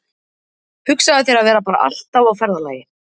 Hugsaðu þér að vera bara alltaf á ferðalagi.